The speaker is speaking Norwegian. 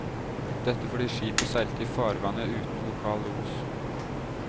Dette fordi skipet seilte i farvannet uten lokal los.